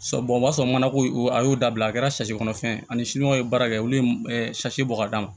o b'a sɔrɔ mana ko a y'o dabila a kɛra kɔnɔfɛn ye ani sinikɔnɔ ye baara kɛ olu ye bɔ ka d'a ma